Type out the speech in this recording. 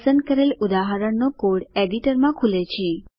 પસંદ કરેલ ઉદાહરણનો કોડ એડિટરમાં ખુલે છે